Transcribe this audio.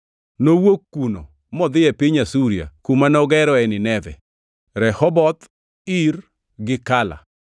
Nowuok kuno modhi e piny Asuria kuma nogeroe Nineve, Rehoboth-Ir, gi Kala,